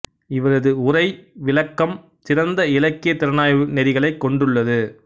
இவரது உரை விளக்கம் சிறந்த இலக்கியத் திறனாய்வு நெறிகளைக் கொண்டுள்ளது